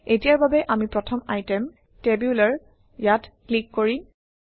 এতিয়াৰ বাবে আমি প্ৰথম আইটেম টেবুলাৰ ইয়াত ক্লিক কৰিম